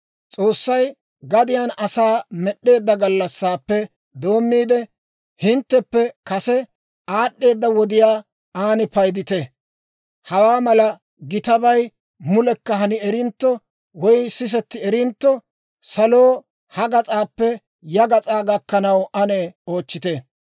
«S'oossay gadiyaan asaa med'd'eedda gallassaappe doommiide, hintteppe kase aad'd'eeda wodiyaa ane paydite; hawaa mala gitabay mulekka hani erintto woy sisetti erintto, saloo ha gas'aappe ya gas'aa gakkanaw ane oochchite.